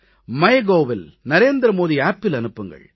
Mygovஇல் NarendraModiAppஇல் அனுப்புங்கள்